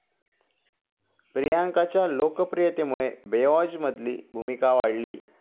प्रियांकाच्या लोकप्रियतेमुळे 'बेवॉच'मधली भूमिका वाढली